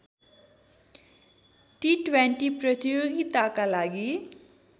T twenty प्रतियोगिताका लागि